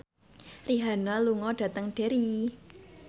Rihanna lunga dhateng Derry